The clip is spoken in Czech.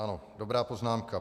Ano, dobrá poznámka .